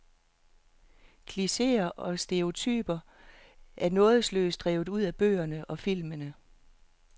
Klicheer og stereotyper er nådeløst hevet ud af bøgerne og filmene.